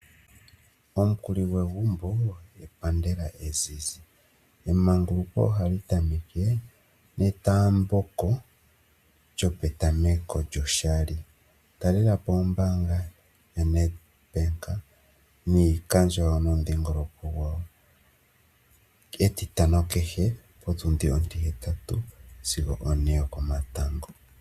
Omukuli gwegumbo epandela ezizi. Emanguluko ohali tameke netaambeko lyopetameko lyoshali. Talela po ombaanga yaNedbank niikandjo yawo momudhingoloko gwawo, ketitano kehe potundi ontihetatu, sigo one yokomatango.